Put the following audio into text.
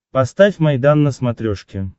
поставь майдан на смотрешке